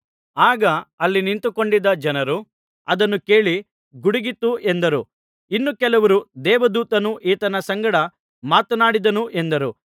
ಆಗ ಅಲ್ಲಿ ನಿಂತುಕೊಂಡಿದ್ದ ಜನರು ಅದನ್ನು ಕೇಳಿ ಗುಡುಗಿತು ಎಂದರು ಇನ್ನು ಕೆಲವರು ದೇವದೂತನು ಈತನ ಸಂಗಡ ಮಾತನಾಡಿದನು ಎಂದರು